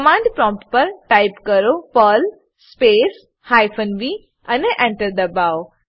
command prompt પર type કરો Perl space hyphen V અને ENTER દબાવો